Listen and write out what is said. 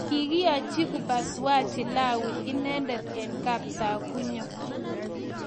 Kikiachi upasuaji Lawi inendet eng Kaptagunyo.